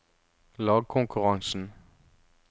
lagkonkurransen